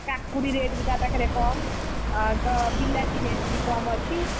କାକୁଡି rate ବି ତା ପାଖରେ କମ୍, ଆଉତ ବିଲାତି rate ବି କମ୍ ଅଛି,